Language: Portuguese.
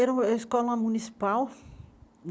Era uma escola municipal.